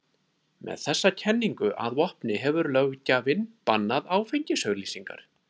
Með þessa kenningu að vopni hefur löggjafinn bannað áfengisauglýsingar.